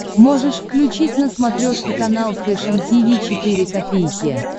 можешь включить на смотрешке канал фэшн ти ви четыре ка